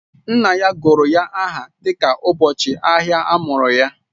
Nna ya gụrụ ya aha dịka ụbọchị ahịa a mụrụ ya